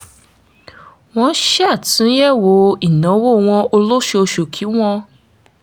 wọ́n ṣàtúnyẹ̀wò ìnáwó wọn o lóṣooṣù kí wọ́n